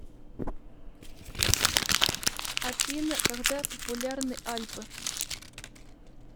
афина когда популярны альпы